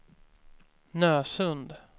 Nösund